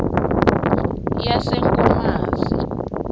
yasenkomazi